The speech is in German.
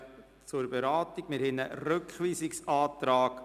Eventualiter Rückweisung an die FIKO mit folgender Auflage: